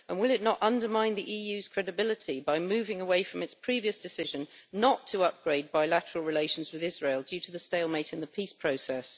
And will it not undermine the EU's credibility by moving away from its previous decision not to upgrade bilateral relations with Israel due to the stalemate in the peace process?